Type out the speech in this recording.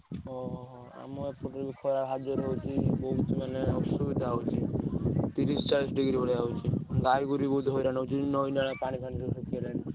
ଓହୋ। ବହୁତ ମାନେ ଅସୁବିଧା ହଉଛି ତିରିଶ ଚାଳିଶ degree ଭଳିଆ ହଉଛି ଗାଈ ଗୋରୁ ହଇରାଣ ହଉଛନ୍ତି ନଈ ନାଳ ପାଣି ସବୁ ଶୁଖିଗଲାଣି।